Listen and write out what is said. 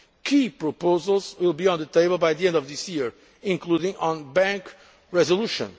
reform. Key proposals will be on the table by the end of this year, including ones on bank resolution.